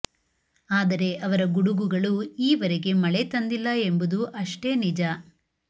ಆದರೆ ಅವರ ಗುಡುಗುಗಳು ಈ ವರೆಗೆ ಮಳೆ ತಂದಿಲ್ಲ ಎಂಬುದೂ ಅಷ್ಟೇ ನಿಜ